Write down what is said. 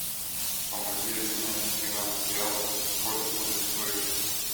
помоги обменять тринадцать реалов сколько будет стоить